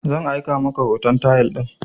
Zan aika maka hoton tayal din